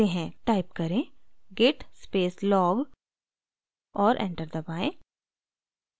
type करें: git space log और enter दबाएँ